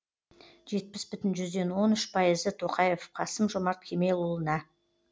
жетпіс бүтін жүзден он үш пайызы тоқаев қасым жомарт кемелұлына